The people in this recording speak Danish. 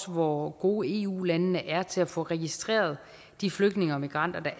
hvor gode eu landene er til at få registreret de flygtninge og migranter